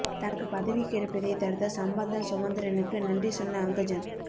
தனக்கு பதவி கிடைப்பதைத் தடுத்த சம்பந்தன் சுமந்திரனுக்கு நன்றி சொன்ன அங்கஜன்